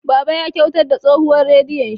Baba ya kyautar da tsohuwar radiyon shi.